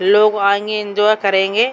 लोग आएंगे एन्जॉय करेंगे।